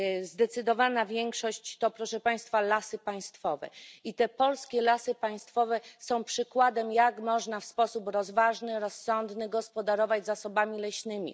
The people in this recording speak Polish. Zdecydowana większość to lasy państwowe i polskie lasy państwowe są przykładem, jak można w sposób rozważny, rozsądny gospodarować zasobami leśnymi.